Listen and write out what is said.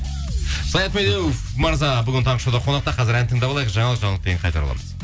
саят медеуов мырза бүгін таңғы шоуда қонақта қазір ән тыңдап алайық жаңалық жаңалықтан кейін қайта ораламыз